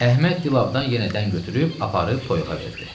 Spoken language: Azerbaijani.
Əhməd Dilabdan yenə dən götürüb aparıb toyuğa verdi.